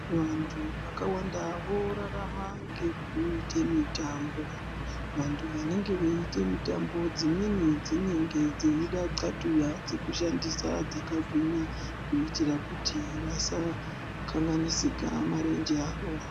Vantu vakawanda vorarama ngekuita mitambo, vantu vanenge veite mitambo dzimweni dzinenge dzeide Nxhlatuya dzekushandisa dzakgwinya kuitira kuti vasakanganisika marenje awo.